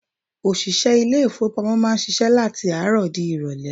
Òṣìṣẹ́ ilé-ifowopamo máa ń ṣíṣe láti àárọ̀ di irole.